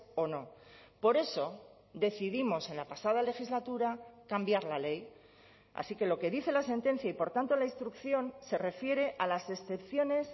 o no por eso decidimos en la pasada legislatura cambiar la ley así que lo que dice la sentencia y por tanto la instrucción se refiere a las excepciones